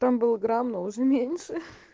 там был грамм но уже меньше